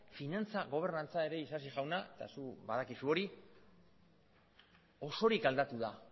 finantza gobernantza ere isasi jauna eta zuk badakizu hori osorik aldatu da